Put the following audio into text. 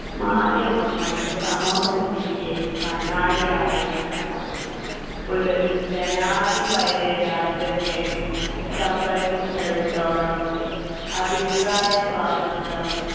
മാധ്യമങ്ങൾ സമൂഹത്തിൻ്റെ കണ്ണാടി ആയിരിക്കണം ഒരു ജനാധിപത്യ രാജ്യത്തെ സംബന്ധിച്ചിടത്തോളം അഭിപ്രായ സ്വാതന്ത്ര്യം